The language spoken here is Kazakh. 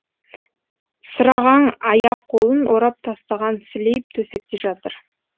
сырағаң аяқ қолын орап тастаған сілейіп төсекте жатыр